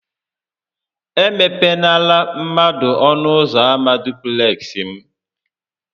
E mepenara mmadụ ọnụ ụzọ ama dupleksị m!